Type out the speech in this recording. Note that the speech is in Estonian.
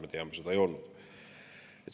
Me teame, et see seda ei olnud.